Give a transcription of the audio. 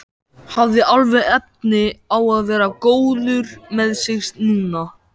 Hafði alveg efni á að vera góður með sig núna.